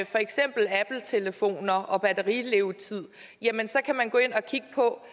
for eksempel appletelefoner og batterilevetid så kan man gå ind og kigge på